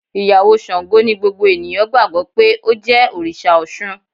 Ìyàwó Sango ni gbogbo ènìyàn gbàgbó pé ó jẹ́ Òrìsà Osun.